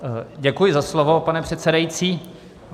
Děkuji za slovo, pane předsedající.